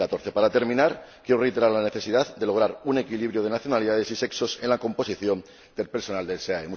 2014. Para terminar, quiero reiterar la necesidad de lograr un equilibrio de nacionalidades y sexos en la composición del personal del SEAE.